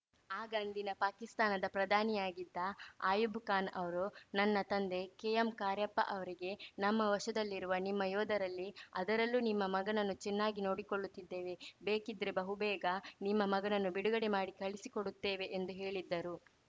ಆಗ ಅಂದಿನ ಪಾಕಿಸ್ತಾನದ ಪ್ರಧಾನಿಯಾಗಿದ್ದ ಅಯೂಬ್‌ ಖಾನ್‌ ಅವರು ನನ್ನ ತಂದೆ ಕೆಎಂ ಕಾರ್ಯಪ್ಪ ಅವರಿಗೆ ನಮ್ಮ ವಶದಲ್ಲಿರುವ ನಿಮ್ಮ ಯೋಧರಲ್ಲಿ ಅದರಲ್ಲೂ ನಿಮ್ಮ ಮಗನನ್ನು ಚೆನ್ನಾಗಿ ನೋಡಿಕೊಳ್ಳುತ್ತಿದ್ದೇವೆ ಬೇಕಿದ್ರೆ ಬಹುಬೇಗ ನಿಮ್ಮ ಮಗನನ್ನು ಬಿಡುಗಡೆ ಮಾಡಿ ಕಳಿಸಿಕೊಡುತ್ತೇವೆ ಎಂದು ಹೇಳಿದ್ದರು